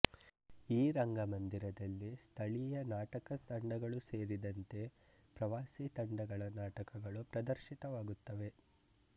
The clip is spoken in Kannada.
ಈ ರಂಗಮಂದಿರದಲ್ಲಿ ಸ್ಥಳೀಯ ನಾಟಕ ತಂಡಗಳು ಸೇರಿದಂತೆ ಪ್ರವಾಸೀ ತಂಡಗಳ ನಾಟಕಗಳು ಪ್ರದರ್ಶಿತವಾಗುತ್ತವೆ